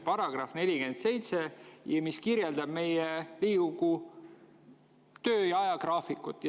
Paragrahv 47 kirjeldab Riigikogu töö ajagraafikut.